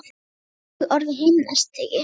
Mér datt í hug orðið himnastigi.